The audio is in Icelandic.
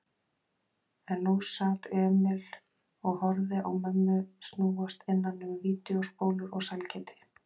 En nú sat Emil og horfði á mömmu snúast innan um vídeóspólur og sælgæti.